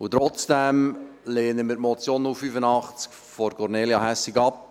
Und trotzdem lehnen wir die Motion 085-2019von Kornelia Hässig ab.